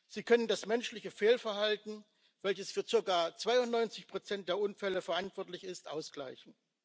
Sie können das menschliche Fehlverhalten, welches für circa 92 Prozent der Unfälle verantwortlich ist, ausgleichen.